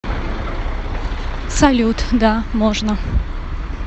салют да можно